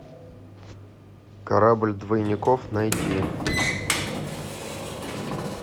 корабль двойников найти